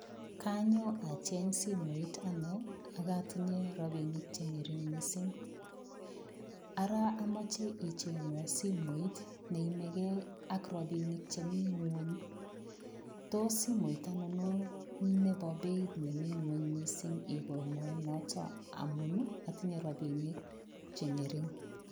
Kanyo acheng simoit anne ak atinye rapinik che ngering mising. Ara amoche ichengwan simoit neyamegei ak rapinikchemi ingwony, tos simoit ainon nebo beit nemi ingwony mising? igona noto amun atinye rapinik che ngering.